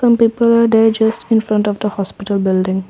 people are day just in front of the hospital building.